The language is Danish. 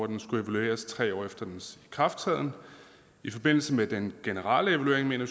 den skulle evalueres tre år efter dens ikrafttræden i forbindelse med den generelle evaluering mener